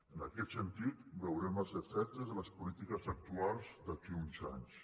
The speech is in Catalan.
en aquest sentit veurem els efectes de les polítiques actuals d’aquí a uns anys